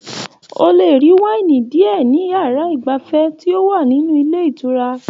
O le rí waini diẹ ní yàrá igbafẹ̀ ti o wa nínú ilé ìtura